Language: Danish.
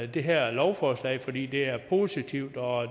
det her lovforslag fordi det er positivt og